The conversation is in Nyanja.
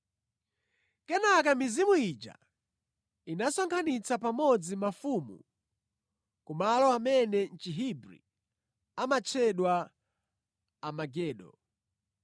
Kenaka mizimu ija inasonkhanitsa pamodzi mafumu ku malo amene mʼChihebri amatchedwa Armagedo.